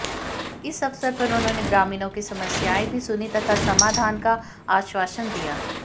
इस अवसर पर उन्होंने ग्रामीणों की समस्याएं भी सुनीं तथा समाधान का आश्वासन दिया